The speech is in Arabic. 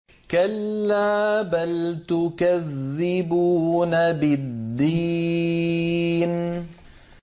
كَلَّا بَلْ تُكَذِّبُونَ بِالدِّينِ